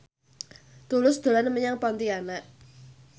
Tulus dolan menyang Pontianak